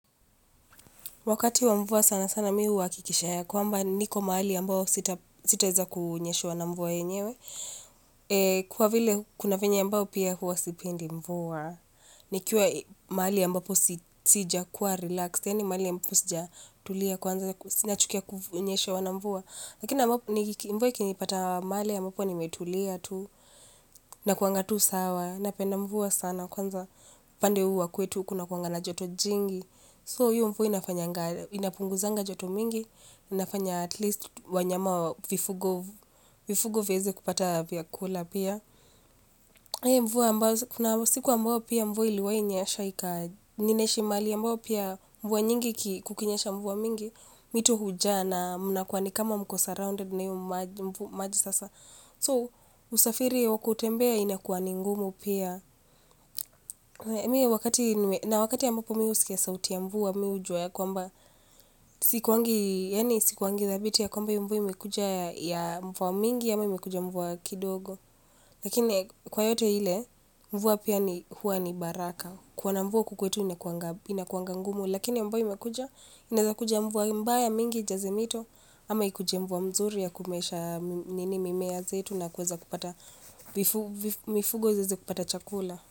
Wakati wa mvua sana sana mimi huhakikisha ya kwamba niko mahali ambao sita weza kunyeshewa na mvua yenyewe. Kwa vile kuna venye ambao pia huwa sipendi mvua. Nikiwa mahali ambapo sija kuwa relaxed. Yaani mahali ambapo sijatulia kwanza si nachukia kunyeshewa na mvua. Lakina mvua ikinipata mahali ambapo nimetulia tu na kuanga tuu sawa napenda mvua sana kwanza upande huu wa kwetu kuna kuwanga na joto jingi. So hiyo mvua inapunguzanga joto mingi inafanya at least wanyama vifugo vifugo heze kupata vya kula pia siku ambao pia mvua iliwahi nyesha ika, ninaishi mahali ambapo pia mvua nyingi kukinyasha mvua mingi, mito hujaa na mnakuwa ni kama mko surrounded na hiyo maji sasa. So, kusafiri au kutembea inakuwa ni ngumu pia na wakati ambapo mimi husikia sauti ya mvua mimi hujua ya kwamba, sikuwangi, yani sikuwangi thabiti ya kwamba hiyo mvua imekuja ya mvua mingi ama imekuja mvua kidogo. Lakini kwa yote ile, mvua pia ni huwa ni baraka. Kuona mvua huku kwetu inakuanga ngumu, lakini ambayo imekuja, inazakuja mvua mbaya mingi ijaze mito, ama ikuje mvua mzuri ya kumeesha nini mimea zetu na kuweza kupata, mifugo ziweze kupata chakula.